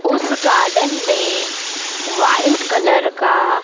उस गार्डन में white colour का--